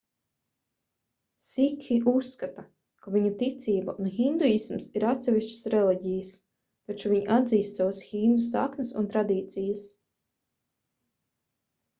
sikhi uzskata ka viņu ticība un hinduisms ir atsevišķas reliģijas taču viņi atzīst savas hindu saknes un tradīcijas